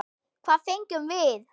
Hvað fengum við?